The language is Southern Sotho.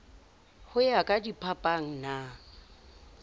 ho ya ka diphapang na